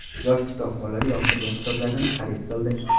Yosh kitobxonlar yoqtirgan kitoblarini xarid qildi.